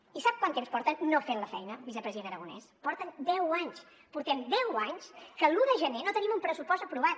i sap quant temps porten no fent la feina vicepresident aragonès porten deu anys portem deu anys que l’un de gener no tenim un pressupost aprovat